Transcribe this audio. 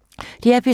DR P3